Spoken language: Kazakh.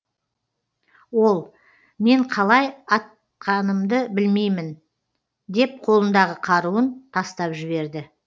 ол мен қалай атқанымды білмеймін деп қолындағы қаруын тастап жіберді